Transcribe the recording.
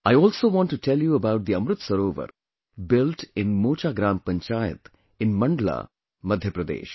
I also want to tell you about the Amrit Sarovar built in Mocha Gram Panchayat in Mandla, Madhya Pradesh